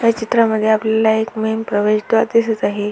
या चित्रामध्ये आपल्याला एक मेन प्रवेशद्वार दिसत आहे.